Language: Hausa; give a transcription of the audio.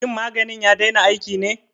Shin maganin ya daina aiki ne?